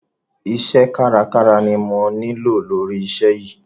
Iṣẹ́ kárakára ni mo nílò lóri iṣẹ́ yìí.